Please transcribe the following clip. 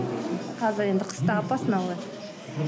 қазір енді қыста опасно ғой